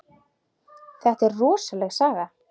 Þetta er rosaleg saga.